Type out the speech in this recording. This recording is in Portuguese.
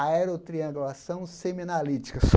Aerotriangulação Seminalítica.